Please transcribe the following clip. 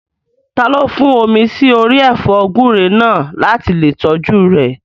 Taló fọ́n omi sí orí ẹ̀fọ́ gúúre náà láti lè tọ́jú rẹ̀?